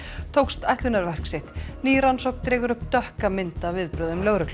tókst ætlunarverk sitt ný rannsókn dregur upp dökka mynd af viðbrögðum lögreglu